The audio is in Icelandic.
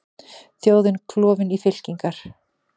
Þjóðin klofin í fylkingar